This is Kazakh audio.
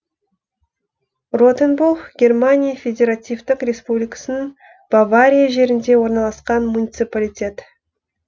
ротенбух германия федеративтік республикасының бавария жерінде орналасқан муниципалитет